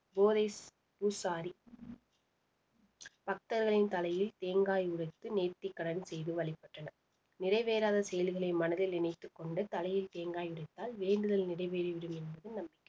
பூசாரி பக்தர்களின் தலையில் தேங்காய் உடைத்து நேர்த்திக்கடன் செய்து வழிபட்டனர் நிறைவேறாத செயல்களை மனதில் நினைத்துக் கொண்டு தலையில் தேங்காய் உடைத்தால் வேண்டுதல் நிறைவேறிவிடும் என்பது நம்பிக்கை